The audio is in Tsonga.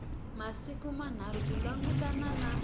masiku manharhu ku langutana na